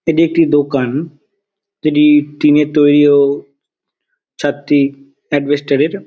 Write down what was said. এটি একটি দোকান যেটি টিনের তৈরী ও ছাদটি এডবেস্টার -এর |